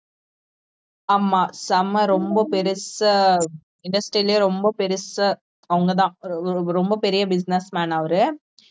ஆமா செம்ம ரொம்ப பெருசா industry லேயே ரொம்ப பெருசா அவங்கதான் ரொ~ ரொம்ப பெரிய business man அவரு